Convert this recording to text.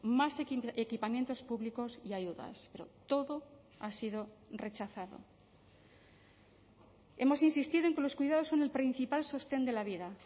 más equipamientos públicos y ayudas pero todo ha sido rechazado hemos insistido en que los cuidados son el principal sostén de la vida